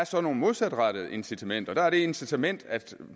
så nogle modsatrettede incitamenter der er det incitament at